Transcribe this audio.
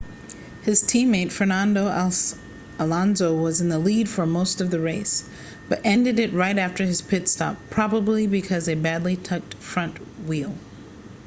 his teammate fernando alonso was in the lead for most of the race but ended it right after his pit-stop probably because a badly tucked right front wheel